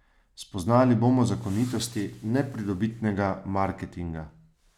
Spoznali bomo zakonitosti nepridobitnega marketinga.